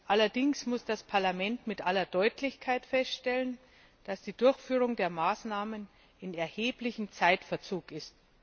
Allerdings muss das Parlament mit aller Deutlichkeit feststellen, dass die Durchführung der Maßnahmen in erheblichem Zeitverzug ist.